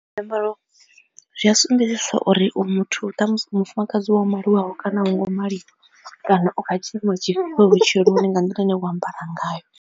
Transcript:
Zwiambaro zwi a sumbedzisa uri u muthu wa mufumakadzi wa maliwaho kana a wo ngo maliwa kana u kha tshiimo tshifhio vhutshiloni nga nḓila ine vho ambara ngayo.